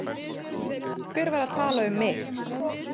Hver var að tala um mig?